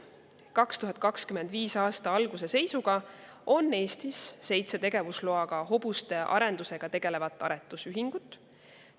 2025. aasta alguse seisuga on Eestis seitse hobuste tegelevat aretusühingut, millel on tegevusluba.